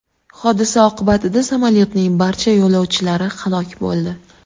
Hodisa oqibatida samolyotning barcha yo‘lovchilari halok bo‘ldi .